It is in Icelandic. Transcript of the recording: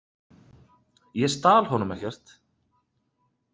Ég stal honum ekkert.